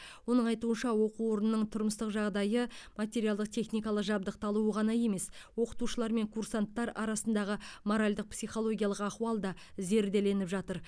оның айтуынша оқу орнының тұрмыстық жағдайы материалдық техникалық жабдықталуы ғана емес оқытушылар мен курсанттар арасындағы моральдық психологиялық ахуал да зерделеніп жатыр